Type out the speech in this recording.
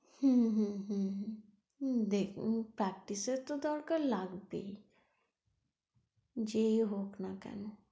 হুম হুম হুম হুম, হুম দেখ এমনি practise এর তো দরকার লাগবেই যেই হোক না কেনো।